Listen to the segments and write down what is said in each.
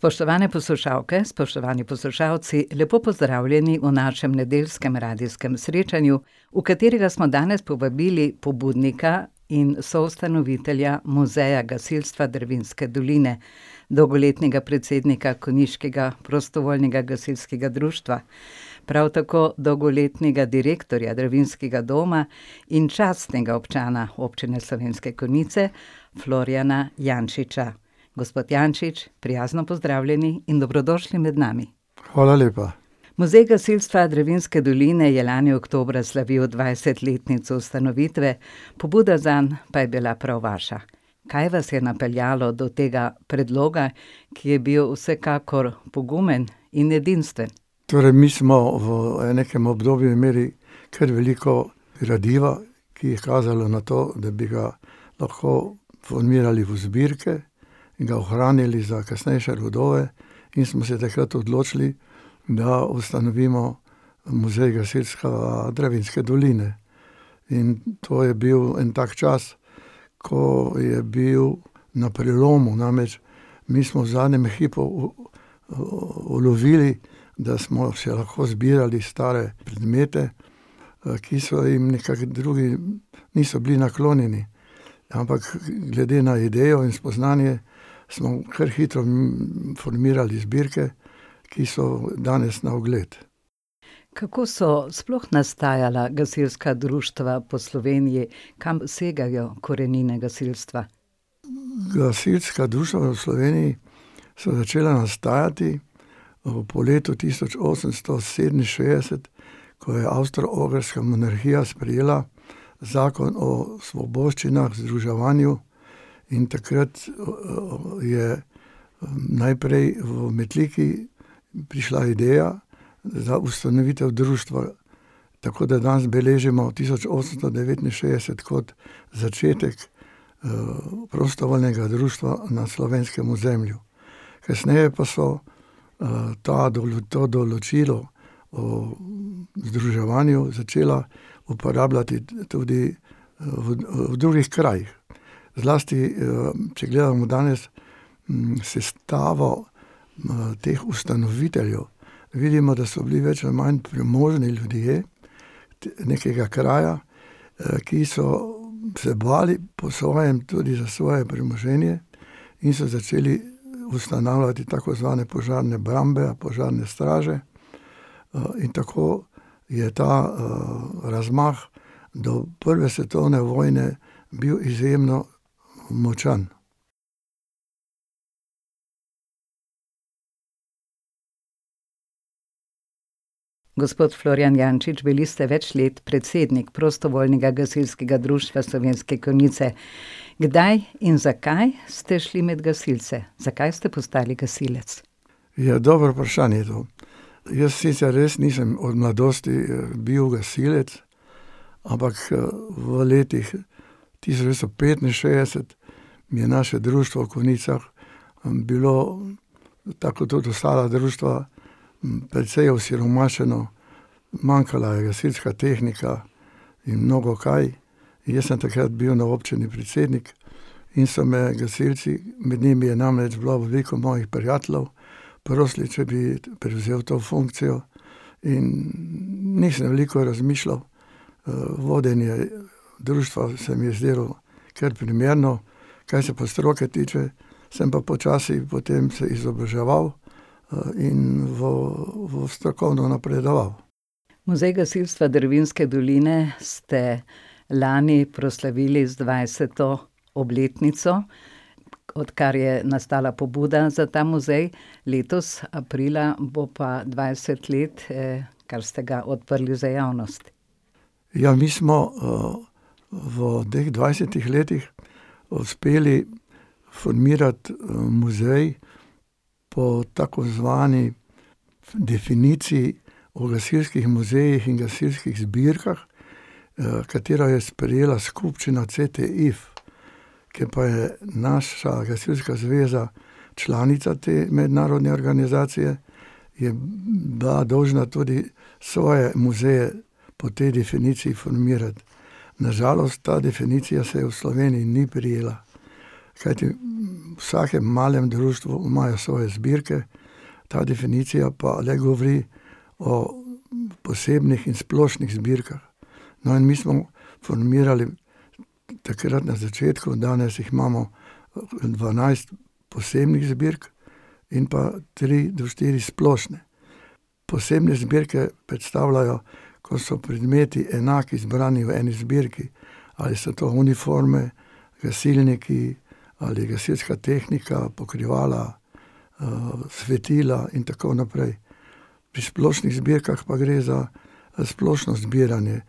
Spoštovane poslušalke, spoštovani poslušalci, lepo pozdravljeni v našem nedeljskem radijskem srečanju, v katerega smo danes povabili pobudnika in soustanovitelja Muzeja gasilstva Dravinjske doline, dolgoletnega predsednika konjiškega prostovoljnega gasilskega društva, prav tako dolgoletnega direktorja Dravinjskega doma in častnega občana Občine Slovenske Konjice, Florjana Jančiča. Gospod Jančič, prijazno pozdravljeni in dobrodošli med nami. Hvala lepa. Muzej gasilstva Dravinjske doline je lani oktobra slavil dvajsetletnico ustanovitve, pobuda zanj pa je bila prav vaša. Kaj vas je napeljalo do tega predloga, ki je bil vsekakor pogumen in edinstven? Torej mi smo v nekam obdobju imeli kar veliko gradiva, ki je kazalo na to, da bi ga lahko formirali v zbirke in ga ohranili za kasnejše rodove. In smo se takrat odločili, da ustanovimo Muzej gasilstva Dravinjske doline. In to je bil en tak čas, ko je bil na prelomu, namreč mi smo v zadnjem hipu ulovili, da smo še lahko zbirali stare predmete, ki so jim nekako drugi niso bili naklonjeni. Ampak glede na idejo in spoznanje smo kar hitro formirali zbirke, ki so danes na ogled. Kako so sploh nastajala gasilska društva po Sloveniji, kam segajo korenine gasilstva? Gasilska društva v Sloveniji so začela nastajati, po letu tisoč osemsto sedeminšestdeset, ko je Avstro-Ogrska monarhija sprejela zakon o svoboščinah, združevanju. In takrat, je, najprej v Metliki prišla ideja za ustanovitev društva, tako da danes beležimo tisoč osemsto devetinšestdeset kot začetku, prostovoljnega društva na slovenskem ozemlju. Kasneje pa so, ta to določilo, o združevanju začela uporabljati tudi, v v drugih krajih. Zlasti, če gledamo danes sestavo, teh ustanoviteljev, vidimo, da so bili več ali manj premožni ljudje nekega kraja, ki so se bile po svojem tudi za svoje premoženje in so začeli ustanavljati tako zvane požarne brambe, požarne straže. in tako je ta, razmah do prve svetovne vojne bil izjemno močan. Gospod Florjan Jančič, bili ste več let predsednik prostovoljnega gasilskega društva Slovenske Konjice, Kdaj in zakaj ste šli med gasilce, zakaj ste postali gasilec? Ja, dobro vprašanje to. Jaz sicer res nisem od mladosti, bil gasilec, ampak, v letih tisoč devetsto petinšestdeset je naše društvo v Konjicah, bilo, tako kot tudi ostala društva, precej osiromašeno. Manjkala je gasilska tehnika in mnogokaj. Jaz sem takrat bil na občini predsednik in so me gasilci, med njimi je namreč bilo veliko mojih prijateljev, prosili, če bi prevzel to funkcijo, in nisem veliko razmišljal. vodenje društva se mi je zdelo kar primerno, kar se pa stroke tiče, sem pa počasi potem se izobraževal, in v, v strokovno napredoval. Muzej gasilstva Dravinjske doline ste lani proslavili z dvajseto obletnico, odkar je nastala pobuda za ta muzej. Letos, aprila, bo pa dvajset let, kar ste ga odprli za javnost. Ja, mi smo, v teh dvajsetih letih uspeli formirati, muzej po tako zvani definiciji o gasilskih muzejih in gasilskih zbirkah, katero je sprejela skupščina CTIF, ker pa je naša gasilska zveza članica te mednarodne organizacije, je bila dolžna tudi svoje muzeju po tej definiciji formirati. Na žalost ta definicija se v Slovenji ni prijela. Kajti v vsakem malem društvu imajo svoje zbirke, ta definicija pa ne govori o posebnih in splošnih zbirkah. No, in mi smo formirali takrat na začetku, danes jih imamo dvanajst posebnih zbirk in pa tri do štiri splošne. Posebne zbirke predstavljajo, ko so predmeti enaki zbrani v eni zbirki. Ali so to uniforme, gasilniki ali gasilska tehnika, pokrivala, svetila in tako naprej. Pri splošnih zbirkah pa gre za, za splošno zbiranje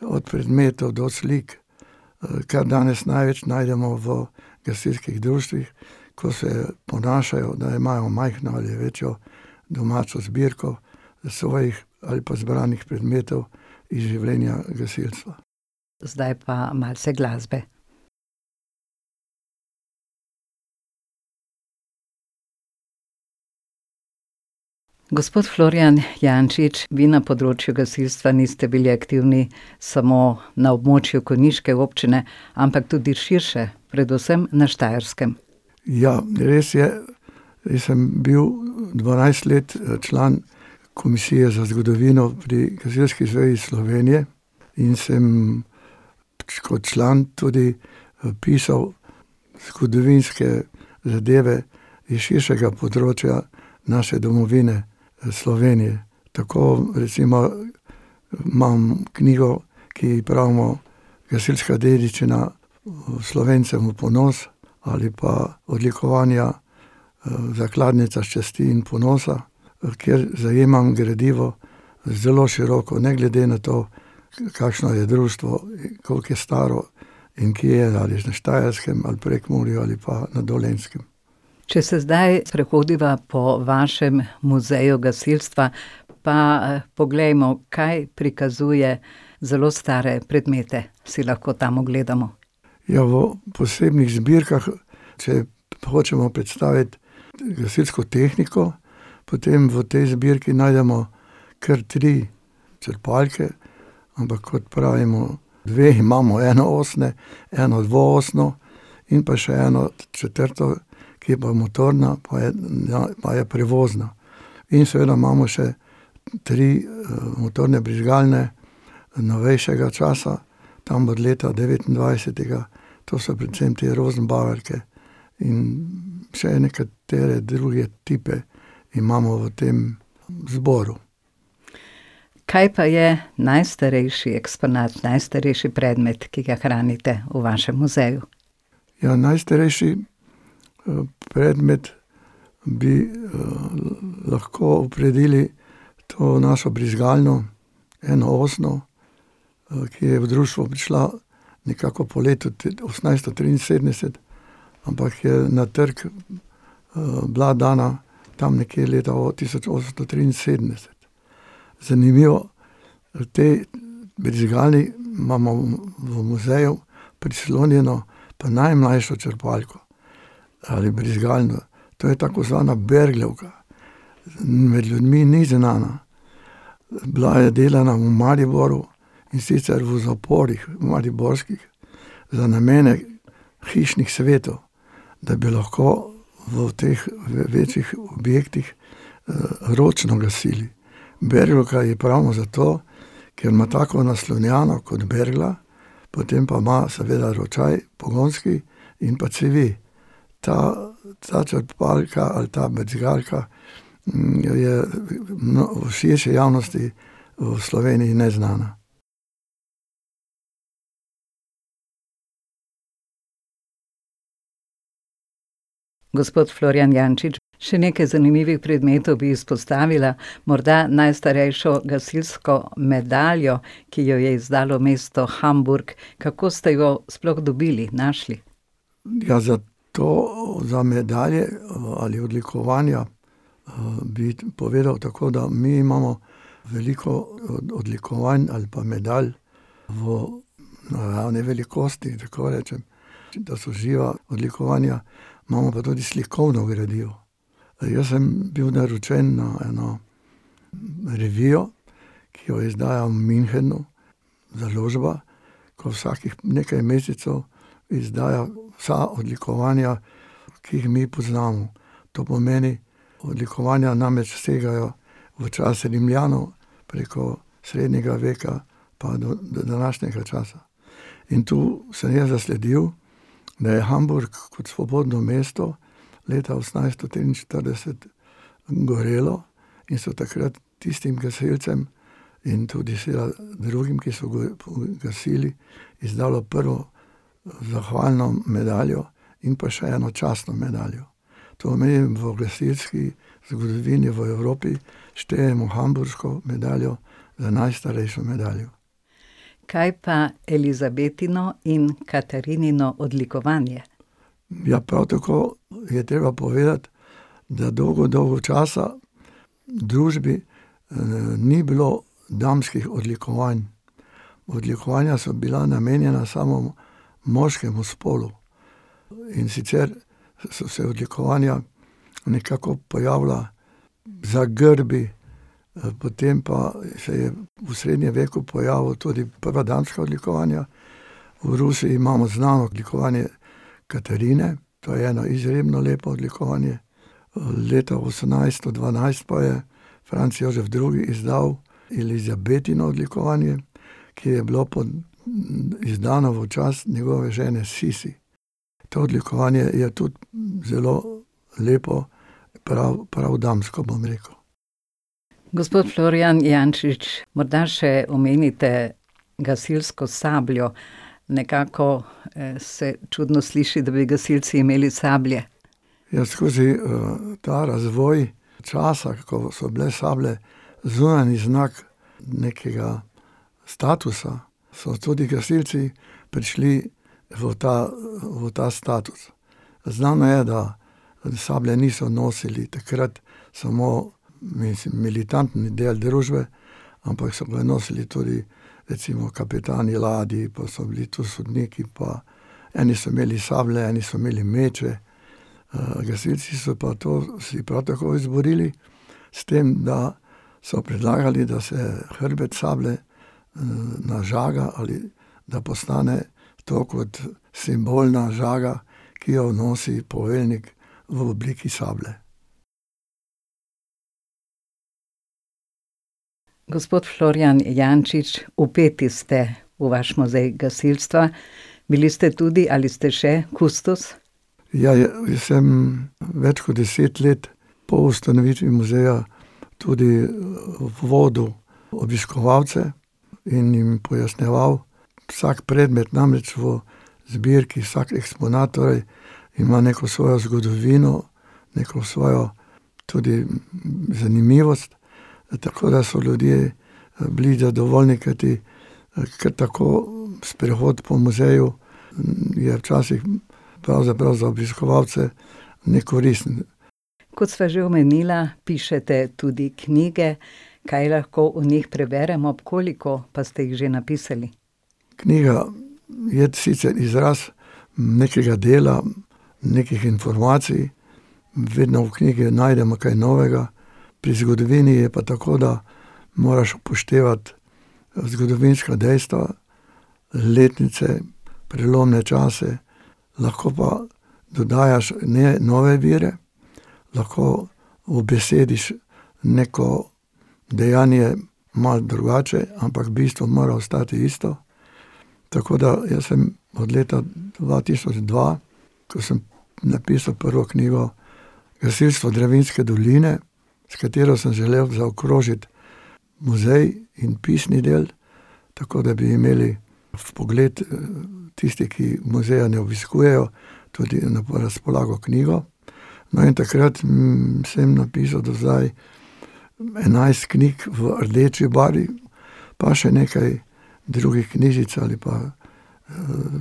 od predmetov do slik, kar danes največ najdemo v gasilskih društvih, ko se ponašajo, da imajo majhno ali večjo domačo zbirko, svojih ali pa zbranih predmetov iz življenja gasilcev. Zdaj pa malce glasbe. Gospod Florjan Jančič, vi na področju gasilstva niste bili aktivni samo na območju konjiške občine, ampak tudi širše, predvsem na Štajerskem. Ja, res je. Jaz sem bil dvanajst let, član Komisije za zgodovino pri Gasilski zvezi Slovenije. In sem pač kot član tudi, pisal zgodovinske zadeve iz širšega področja naše domovine, Slovenije. Tako recimo imam knjigo, ki ji pravimo gasilska dediščina, Slovencem v ponos ali pa odlikovanja, zakladnica časti in ponosa, kjer zajemam gradivo zelo široko ne glede na to, kakšno je društvo in koliko je staro in kje je, ali na Štajerskem ali Prekmurju ali pa na Dolenjskem. Če se zdaj sprehodiva po vašem muzeju gasilstva, pa, poglejmo, kaj prikazuje, zelo stare predmete si lahko tam ogledamo. Ja, v posebnih zbirkah, če hočemo predstaviti gasilsko tehniko, potem v tej zbirki najdemo kar tri črpalke, ampak kot pravimo dve imamo enoosne, eno dvoosno in pa še eno četrto, ki je pa motorna, pa je, pa je prevozna. In seveda imamo še tri, motorne brizgalne novejšega časa. Tam od leta devetindvajsetega. To so predvsem te rozenbaverice in vse nekatere druge tipe imamo v tem zboru. Kaj pa je najstarejši eksponat, najstarejši predmet, ki ga hranite v vašem muzeju? Ja, najstarejši, predmet bi, lahko opredelili to našo brizgalno enoosno. ki je v društvo prišla nekako po letu osemnajststo triinsedemdeset, ampak je na trg, bila dana tam nekje leta tisoč osemsto triinsedemdeset. Zanimivo, te brizgali imamo v muzeju prislonjeno pa najmlajšo črpalko ali brizgalno. To je tako zvana berglovka. Med ljudmi ni znana. bila je delana v Mariboru, in sicer v zaporih mariborskih za namene hišnih svetov, da bi lahko v teh večjih objektih, ročno gasili. Berglovka ji pravimo zato, ker ima tako naslonjalo kot bergla, potem pa ima seveda ročaj, pogonski, in pa cevi. Ta, ta črpalka ali ta brizgalka, jo je v širši javnosti v Sloveniji neznana. Gospod Florjan Jančič, še nekaj zanimivih predmetov bi izpostavila, morda najstarejšo gasilsko medaljo, ki jo je izdalo mesto Hamburg. Kako ste jo sploh dobili, našli? Ja, za to, za medalje, ali odlikovanja, bi povedal tako, da mi imamo veliko, odlikovanj ali pa medalj v naravni velikosti, tako rečem, da so živa odlikovanja. Imamo pa tudi slikovno gradivo. jaz sem bil naročen na eno revijo, ki jo izdaja v Münchnu založba, ko vsakih nekaj mescev izdaja vsa odlikovanja, ki jih mi poznamo. To pomeni, odlikovanja namreč segajo v čas Rimljanov preko srednjega veka pa do današnjega časa, in tu sem jaz zasledil, da je Hamburg kot svobodno mesto leta osemnajststo triinštirideset gorelo, in so takrat tistim gasilcem in tudi drugim, ki so gasili, izdalo prvo zahvalno medaljo in pa še eno častno medaljo. To mi je v gasilski zgodovini v Evropi štejemo hamburško medaljo za najstarejšo medaljo. Kaj pa Elizabetino in Katarinino odlikovanje? ja, prav tako je treba povedati, da dolgo, dolgo časa v družbi, ni bilo damskih odlikovanj. Odlikovanja so bila namenjena samo moškemu spolu, in sicer so se odlikovanja nekako pojavila za grbi. potem pa se je v srednjem veku pojavila tudi prva damska odlikovanja. V Rusiji imamo znano odlikovanje Katarine, to je eno izredno lepo odlikovanje. leta osemnajsto dvanajst pa je Franc Jožef drugi izdal Elizabetino odlikovanje, ki je bilo izdano v čast njegove žene Sisi. To odlikovanje je tudi, zelo lepo, prav, prav damsko, bom rekel. Gospod Florjan Jančič, morda še omenite gasilsko sabljo. Nekako, se čudno sliši, da bi gasilci imeli sablje. Ja, skozi, ta razvoj časa, ko so bile sablje zunanji znak nekega statusa, so tudi gasilci prišli v ta, v ta status. Znano je, da sablje niso nosili takrat samo militantni del družbe, ampak so ga nosili tudi recimo kapitani ladij, pa so bili to sodniki pa eni so imeli sablje, eni so imeli meče. gasilci so pa to si prav tako izborili, s tem da so predlagali, da se hrbet sablje, nažaga ali da postane to kot simbolna žaga, ki jo nosi poveljnik v obliki sablje. Gospod Florjan Jančič, vpeti ste v vaš muzej gasilstva, bili ste tudi ali ste še kustos. Ja, jaz sem več kot deset let po ustanovitvi muzeja tudi, vodil obiskovalce in jim pojasnjeval vsak predmet, namreč v zbirki vsak eksponat torej ima neko svojo zgodovino, neko svojo tudi, zanimivost, tako da so ljudje, bili zadovoljni, kajti, kar tako sprehod po muzeju, je včasih pravzaprav za obiskovalce nekoristen. Kot sva že omenila, pišete tudi knjige. Kaj lahko v njih preberemo? Koliko pa ste jih že napisali? Knjiga je sicer izraz nekega dela, nekih informacij. vedno v knjigi najdemo kaj novega, pri zgodovini je pa tako, da moraš upoštevati, zgodovinska dejstva, letnice, prelomne čase. Lahko pa dodajaš ne nove vire, lahko ubesediš neko dejanje malo drugače, ampak bistvo mora ostati isto. Tako da jaz sem od leta dva tisoč dva, ko sem napisal prvo knjigo Gasilstvo Dravinjske doline, s katero sem želel zaokrožiti muzej in pisni del, tako da bi imeli vpogled, tisti, ki muzeja ne obiskujejo, tudi na razpolago knjigo. No, in takrat, sem napisal do zdaj enajst knjig v rdeči barvi, pa še nekaj drugih knjižic ali pa,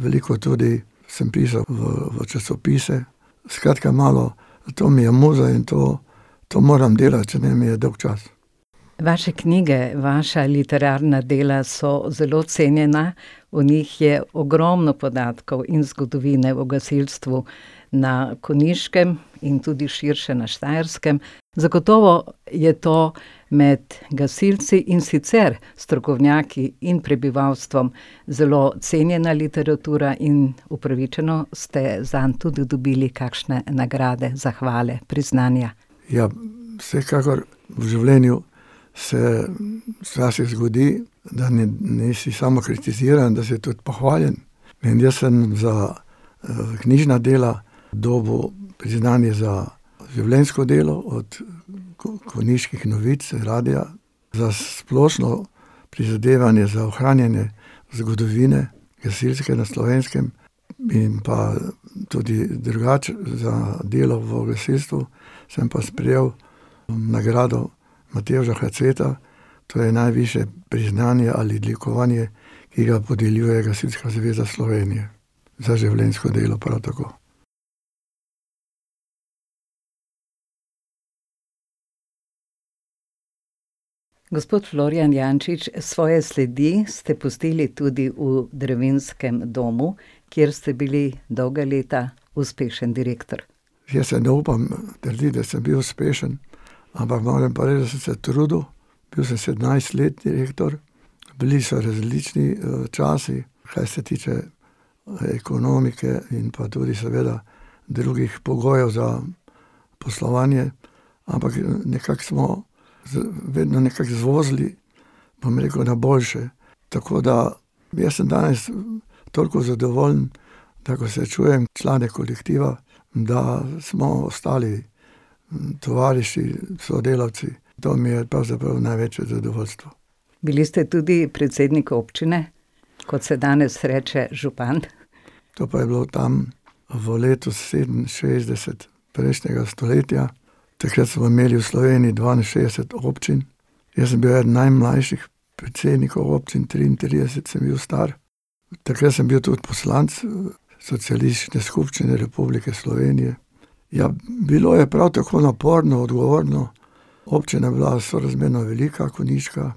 veliko tudi sem pisal v, v časopise. Skratka, malo to mi je muza in to, to moram delati, če ne mi je dolgčas. Vaše knjige, vaša literarna dela so zelo cenjena, v njih je ogromno podatkov in zgodovine o gasilstvu na Konjiškem in tudi širše na Štajerskem. Zagotovo je to med gasilci, in sicer strokovnjaki in prebivalstvom, zelo cenjena literatura in upravičeno ste zanj tudi dobili kakšne nagrade, zahvale, priznanja. Ja, vsekakor v življenju se, včasih zgodi, da nisi samo kritiziran, da si tudi pohvaljen. In jaz sem za, knjižna dela dobil priznanje za življenjsko delo od Konjiških novic, radia za splošno prizadevanje za ohranjanje zgodovine gasilske na Slovenskem in pa tudi, drugače za delo v gasilstvu sem pa sprejel nagrado Matevža Haceta. To je najvišje priznanje ali odlikovanje, ki ga podeljuje Gasilska zveza Slovenije. Za življenjsko delo prav tako. Gospod Florjan Jančič, svoje sledi ste pustili tudi v Dravinjskem domu, kjer ste bili dolga leta uspešen direktor. Jaz si ne upam trditi, da sem bil uspešen, ampak moram pa reči, da sem se trudil. Bil sem sedemnajst let direktor. Bili so različni, časi, kar se tiče, ekonomike in pa tudi seveda drugih pogojev za poslovanje, ampak, nekako smo vedno nekako zvozili, bom rekel na boljše, tako da jaz sem danes toliko zadovoljen. Tako kot srečujem člane kolektiva, da smo ostali tovariši, sodelavci, to mi je pravzaprav največje zadovoljstvo. Bili ste tudi predsednik občine? Kot se danes reče, župan. To pa je bilo tam v letu sedeminšestdeset prejšnjega stoletja. Takrat smo imeli v Sloveniji dvainšestdeset občin. Jaz sem bil eden najmlajših predsednikov občin, triintrideset sem bil star. Takrat sem bil tudi poslanec socialistične skupščine Republike Slovenije. Ja, bilo je prav tako naporno, odgovorno. Občina je bila sorazmerno velika, konjiška.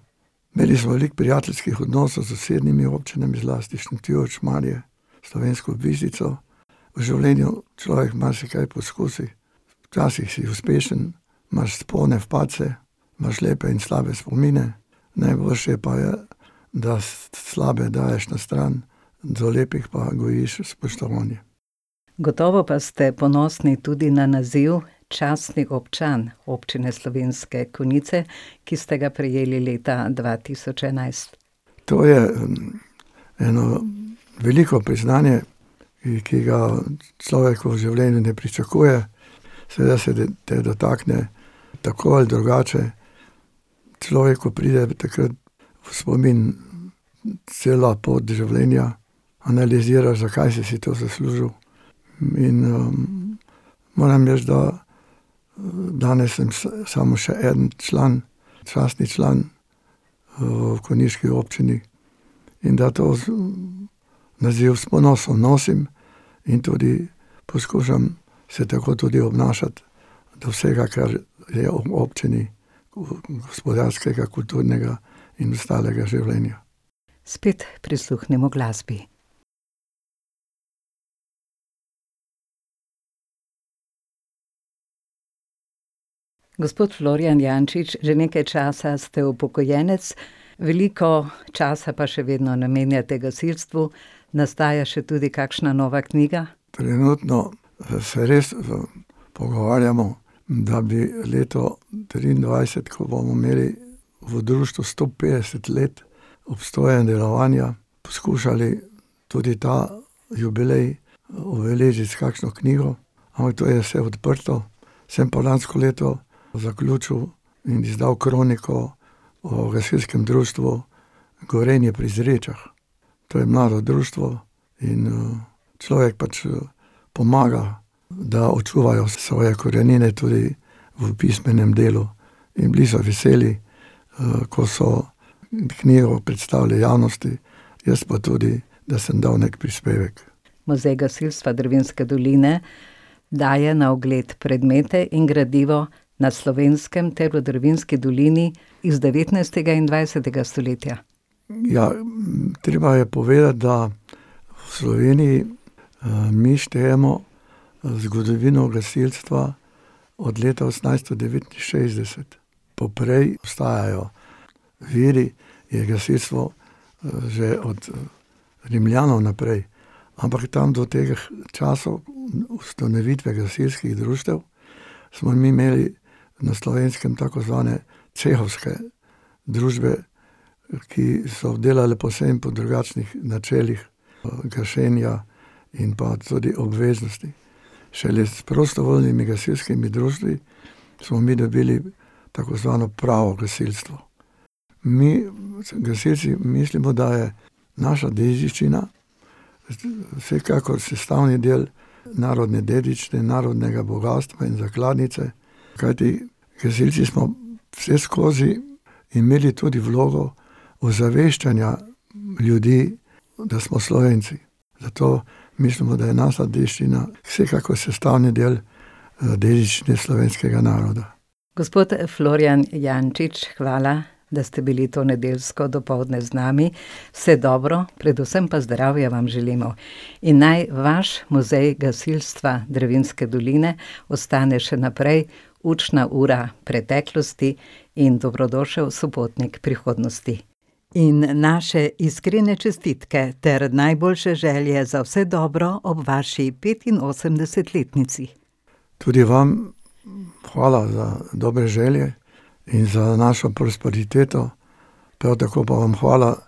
Imeli smo veliko prijateljskih odnosov s sosednjimi občinami, zlasti Šentjur, Šmarje, s Slovensko Bistrico. V življenju človek marsikaj poskusi, včasih si uspešen, imaš vzpone, padce. Imaš lepe in slabe spomine. Najboljše pa je, da slabe daješ na stran, do lepih pa gojiš spoštovanje. Gotovo pa ste ponosni tudi na naziv častni občan Občine Slovenske Konjice, ki ste ga prejeli leta dva tisoč enajst. To je, eno veliko priznanje, ki ga človek v življenju ne pričakuje. Seveda se te, te dotakne tako ali drugače. Človeku pride takrat v spomin cela pot življenja, analiziraš, zakaj si si to zaslužil in, moram reči, da, danes sem samo še eden član, častni član, v konjiški občini, in da to naziv s ponosom nosim in tudi poskušam se tako tudi obnašati. Do vsega, kar je ob občini gospodarskega, kulturnega in ostalega življenja. Spet prisluhnimo glasbi. Gospod Florjan Jančič, že nekaj časa ste upokojenec. Veliko časa pa še vedno namenjate gasilstvu, nastaja še tudi kakšna nova knjiga? Trenutno, se res v pogovarjamo, da bi leto triindvajset, ko bomo imeli v društvu sto petdeset let obstoja in delovanja, poskušali tudi ta jubilej obeležiti s kakšno knjigo. Ampak to je vse odprto. Sem pa lansko leto zaključil in izdal kroniko o gasilskem društvu Gorenje pri Zrečah. To je mlado društvo in, človek pač pomaga, da očuvajo svoje korenine tudi v pismenem delu. In bili so veseli, ko so knjigo predstavili javnosti. Jaz pa tudi, da sem dal neki prispevek. Muzej gasilstva Dravinjske doline daje na ogled predmete in gradivo na Slovenskem ter v Dravinjski dolini iz devetnajstega in dvajsetega stoletja. ja, treba je povedati, da v Sloveniji, mi štejemo, zgodovino gasilstva od leta osemnajststo devetinšestdeset. Poprej obstajajo viri, je gasilstvo, že od Rimljanov naprej, ampak tam do teh časov ustanovitve gasilskih društev smo mi imeli na Slovenskem tako zvane cehovske družbe, ki so delale povsem po drugačnih načelih, gašenja in pa tudi obveznosti. Šele s prostovoljnimi gasilskimi društvi smo mi dobili tako zvano pravo gasilstvo. Mi gasilci mislimo, da je naša dediščina vsekakor sestavni del narodne dediščine, narodnega bogastva in zakladnice, kajti gasilci smo vseskozi imeli tudi vlogo ozaveščanja ljudi, da smo Slovenci. Zato mislimo, da je naša dediščina vsekakor sestavni del, dediščine slovenskega naroda. Gospod Florjan Jančič, hvala, da ste bili to nedeljsko dopoldne z nami. Vse dobro, predvsem pa zdravja vam želimo. In naj vaš Muzej gasilstva Dravinjske doline ostane še naprej učna ura preteklosti in dobrodošel sopotnik prihodnosti. In naše iskrene čestitke ter najboljše želje za vse dobro ob vaši petinosemdesetletnici. Tudi vam hvala za dobre želje in za našo prosperiteto. Prav tako pa vam hvala,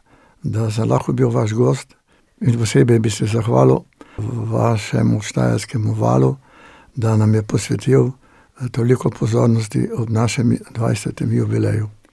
da sem lahko bil vaš gost. In posebej bi se zahvalil vašemu Štajerskemu valu, da nam je posvetil toliko pozornosti ob našem dvajsetem jubileju.